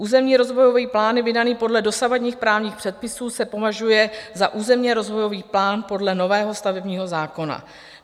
Územní rozvojový plán vydaný podle dosavadních právních předpisů se považuje za územní rozvojový plán podle nového stavebního zákona.